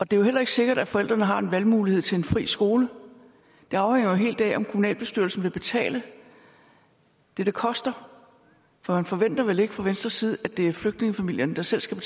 det er heller ikke sikkert at forældrene har en valgmulighed til en fri skole det afhænger jo helt af om kommunalbestyrelsen vil betale det det koster for man forventer vel ikke fra venstres side at det er flygtningefamilierne der selv skal